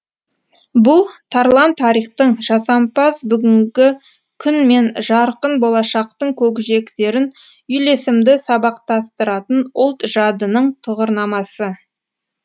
бұл тарлан тарихтың жасампаз бүгінгі күн мен жарқын болашақтың көкжиектерін үйлесімді сабақтастыратын ұлт жадының тұғырнамасы